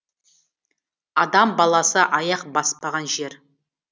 адам баласы аяқ баспаған жер